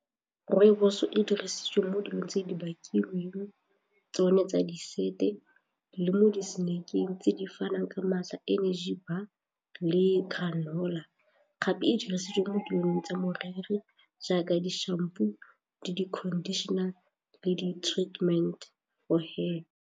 Rooibos e dirisitswe mo dilong tse di bakilweng tsone tsa di sete le mo di-snack-eng tse di fanang maatla energy bar le granola, gape e dirisiwa mo ditlolong tsa moriri jaaka di-shampoo le di-conditioner le di-treatment for hair.